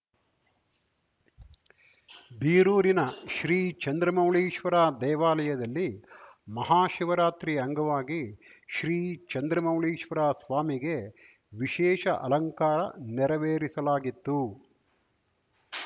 ಬೀರೂರಿನ ಶ್ರೀ ಚಂದ್ರಮೌಳೀಶ್ವರ ದೇವಾಲಯದಲ್ಲಿ ಮಹಾಶಿವರಾತ್ರಿ ಅಂಗವಾಗಿ ಶ್ರೀಚಂದ್ರಮೌಳೀಶ್ವರ ಸ್ವಾಮಿಗೆ ವಿಶೇಷ ಅಲಂಕಾರ ನೆರವೇರಿಸಲಾಗಿತ್ತು